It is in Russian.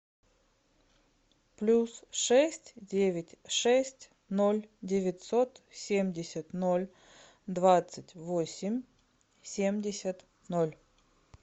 плюс шесть девять шесть ноль девятьсот семьдесят ноль двадцать восемь семьдесят ноль